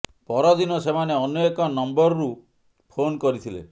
ପର ଦିନ ସେମାନେ ଅନ୍ୟ ଏକ ନମ୍ବରରୁ ଫୋନ୍ କରିଥିଲେ